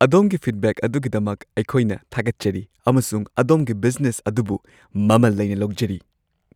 ꯑꯗꯣꯝꯒꯤ ꯐꯤꯗꯕꯦꯛ ꯑꯗꯨꯒꯤꯗꯃꯛ ꯑꯩꯈꯣꯏꯅ ꯊꯥꯒꯠꯆꯔꯤ ꯑꯃꯁꯨꯡ ꯑꯗꯣꯝꯒꯤ ꯕꯤꯖꯅꯦꯁ ꯑꯗꯨꯕꯨ ꯃꯃꯜ ꯂꯩꯅ ꯂꯧꯖꯔꯤ ꯫